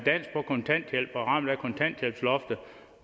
på kontanthjælp er ramt af kontanthjælpsloftet